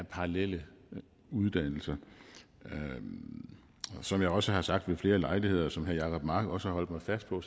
parallelle uddannelser som jeg også har sagt ved flere lejligheder og som herre jacob mark også har holdt mig fast på